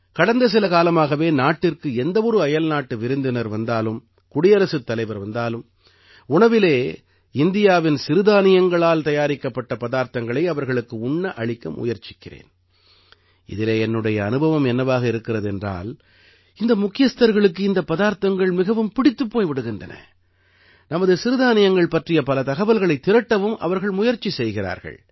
கடந்த சில காலமாகவே நாட்டிற்கு எந்த ஒரு அயல்நாட்டு விருந்தினர் வந்தாலும் குடியரசுத்தலைவர் வந்தாலும் உணவிலே இந்தியாவின் சிறுதானியங்களால் தயாரிக்கப்பட்ட பதார்த்தங்களை அவர்களுக்கு உண்ண அளிக்க முயற்சிக்கிறேன் இதிலே என்னுடைய அனுபவம் என்னவாக இருக்கிறது என்றால் இந்த முக்கியஸ்தர்களுக்கு இந்தப் பதார்த்தங்கள் மிகவும் பிடித்துப் போய் விடுகின்றன நமது சிறுதானியங்கள் பற்றிய பல தகவல்களைத் திரட்டவும் அவர்கள் முயற்சி செய்கிறார்கள்